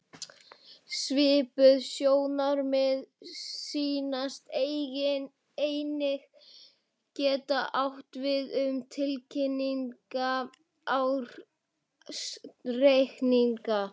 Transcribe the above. Svipuð sjónarmið sýnast einnig geta átt við um tilkynnta ársreikninga.